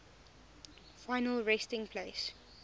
final resting place